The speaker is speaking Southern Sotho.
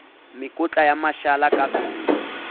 mekotla ya mashala ka veneng